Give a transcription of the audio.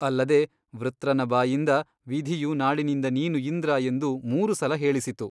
ಅಲ್ಲದೆ ವೃತ್ರನ ಬಾಯಿಂದ ವಿಧಿಯು ನಾಳಿನಿಂದ ನೀನು ಇಂದ್ರ ಎಂದು ಮೂರು ಸಲ ಹೇಳಿಸಿತು.